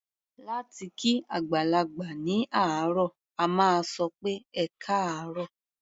Láti kí àgbàlagbà ní àárọ̀, a máa sọ pé "ẹkáàárọ̀".